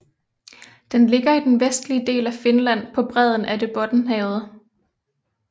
Den ligger i den vestlige del af Finland på bredden af det Bottenhavet